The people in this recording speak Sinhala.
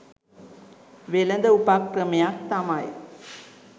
වෙළෙඳ උපක්‍රමයක් තමයි.